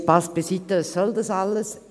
Nein, Spass beiseite: Was soll das alles?